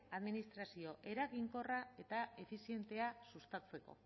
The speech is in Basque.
administrazio eraginkorra eta efizientea sustatzeko